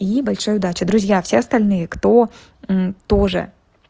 и большая удача друзья все остальные кто тоже